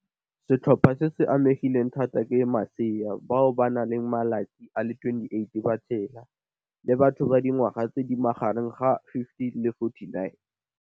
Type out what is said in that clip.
Setlhopha se se amegileng thata ke masea bao ba nang le malatsi a le 28 ba tshela, le batho ba dingwaga tse di magareng ga 15 le 49.